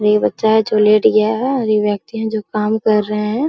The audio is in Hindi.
ये बच्चा है जो लेट गया है और एक व्यक्ति काम कर रहा है।